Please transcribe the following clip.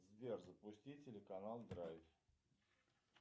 сбер запусти телеканал драйв